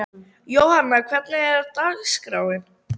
Jóanna, hvernig er dagskráin?